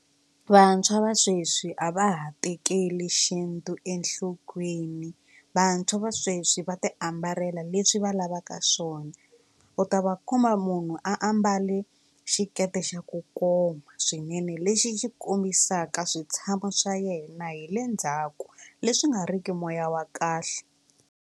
Vantshwa va sweswi a va ha tekeli xintu enhlokweni vantshwa va sweswi va ti ambala leswi va lavaka swona u ta va kuma munhu a mbale xiketi xa ku koma swinene lexi xi kombisaka switshamo swa yena hi le ndzhaku leswi nga ri ki moya wa kahle.